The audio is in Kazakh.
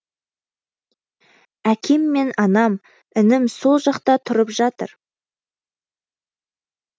әкем мен анам інім сол жақта тұрып жатыр